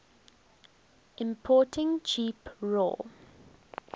importing cheap raw